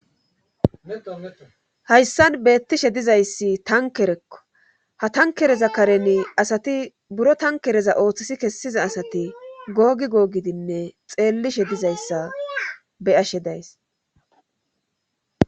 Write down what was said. hayssan beettishe dizayssi tankerekko ha tankereza kareni asati buro tankereza ooththisi kessiza asati googi googidinne xeellishe dizayssa beyashe days